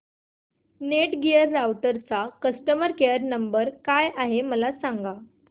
Netgear राउटरचा customer care number काय आहे मला सांग